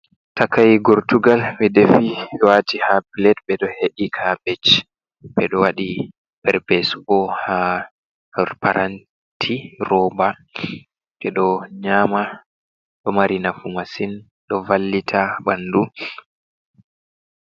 Takai gortugal ɓe defi waati ha plet. Ɓeɗo he'i kabej, ɓeɗo wadi perpesu bo ha paranti roba, ɓeɗo nyama. Ɗo mari nafu masin ɗo vallita ɓandu.